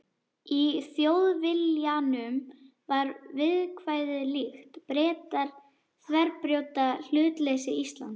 Í Þjóðviljanum var viðkvæðið líkt: Bretar þverbrjóta hlutleysi Íslands.